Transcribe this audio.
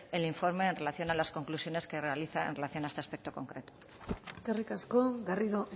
el informe en relación a las conclusiones que realiza en relación a este aspecto concreto eskerrik asko garrido